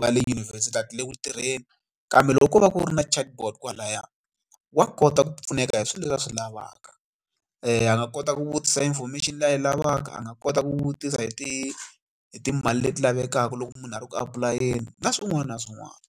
va le yunivhesiti a ti le ku tirheni kambe loko ko va ku ri na Chatbot kwalaya wa kota ku pfuneka hi swilo leswi a swi lavaka a nga kota ku vutisa information leyi yi lavaka a nga kota ku vutisa hi ti hi timali leti lavekaka loko munhu a ri ku apulayela na swin'wana na swin'wana.